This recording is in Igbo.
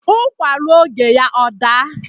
Ụkwa ruo oge ya ọ daa